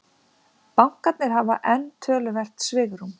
Bankarnir hafa enn töluvert svigrúm